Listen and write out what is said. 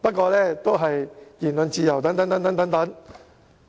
"，總之搬出言論自由等理由。